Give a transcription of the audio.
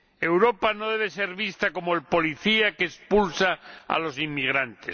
Europa no debe ser vista como el policía que expulsa a los inmigrantes.